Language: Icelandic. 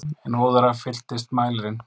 En óðara fylltist mælirinn.